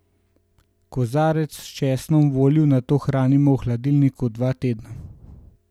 Kozarec s česnom v olju nato hranimo v hladilniku dva tedna.